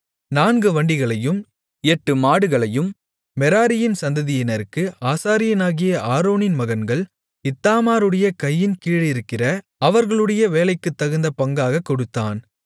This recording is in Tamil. நான்கு வண்டிகளையும் எட்டு மாடுகளையும் மெராரியின் சந்ததியினருக்கு ஆசாரியனாகிய ஆரோனின் மகன்கள் இத்தாமாருடைய கையின் கீழிருக்கிற அவர்களுடைய வேலைக்குத்தகுந்த பங்காகக் கொடுத்தான்